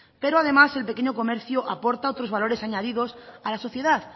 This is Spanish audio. pero además el pequeño comercio aporta otros valores añadidos a la sociedad